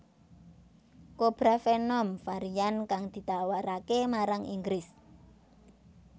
CobraVenom varian kang ditawarake marang Inggris